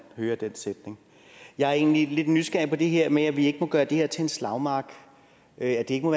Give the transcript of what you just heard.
hører den sætning jeg er egentlig lidt nysgerrig på det her med at vi ikke må gøre det til en slagmark at det ikke må